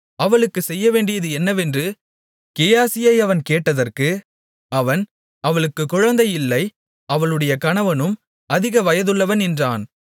அவளுக்குச் செய்யவேண்டியது என்னவென்று கேயாசியை அவன் கேட்டதற்கு அவன் அவளுக்குக் குழந்தை இல்லை அவளுடைய கணவனும் அதிக வயதுள்ளவன் என்றான்